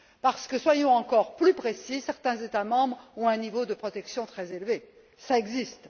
Parce que soyons encore plus précis certains États membres ont un niveau de protection très élevé, ça existe.